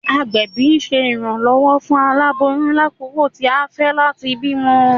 Agbẹbi ṣe iranlọwọ fun alaboyun lakoko ti a fẹ lati bimọ.